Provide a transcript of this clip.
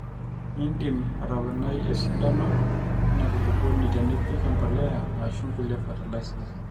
iindim atoponai esidano ina kulukuoni tenipik empolea aashu nkulie fertilisers